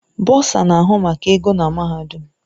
Bọsa na-ahụ maka ego na mahadum.